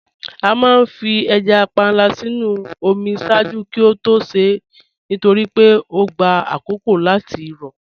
À máà fí èjá pànla sínu omi ṣáàjú kí ó tó ṣè nítorí pé ọ gbà àkókó láti rọ